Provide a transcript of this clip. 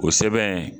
O sɛbɛn